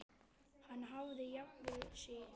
Hann hafði jafnað sig.